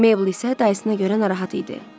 Meybl isə dayısına görə narahat idi.